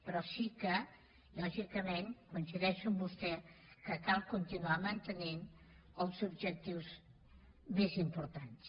però sí que lògicament coincideixo amb vostè cal continuar mantenint els objectius més importants